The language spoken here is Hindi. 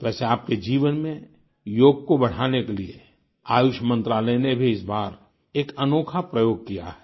वैसे आपके जीवन में योग को बढ़ाने के लिए आयुष मंत्रालय ने भी इस बार एक अनोखा प्रयोग किया है